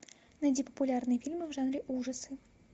найди популярные фильмы в жанре ужасы